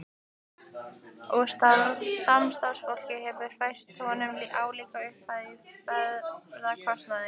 Og samstarfsfólkið hefur fært honum álíka upphæð í ferðakostnaðinn.